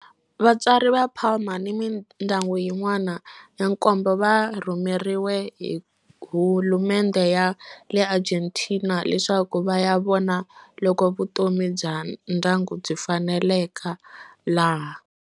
Vatswari va Palma ni mindyangu yin'wana ya nkombo va rhumeriwe hi hulumendhe ya le Argentina leswaku va ya vona loko vutomi bya ndyangu byi faneleka laha.